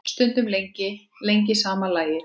Stundum lengi, lengi sama lagið.